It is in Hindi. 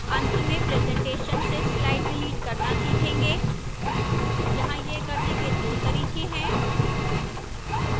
अंत में presentation से slide डिलीट करना सीखेंगे यहां यह करने के दो तरीके हैं